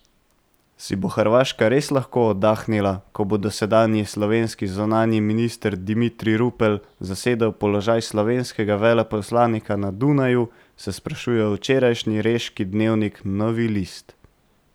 Si bo Hrvaška res lahko oddahnila, ko bo dosedanji slovenski zunanji minister Dimitrij Rupel zasedel položaj slovenskega veleposlanika na Dunaju, se sprašuje včerajšnji reški dnevnik Novi list.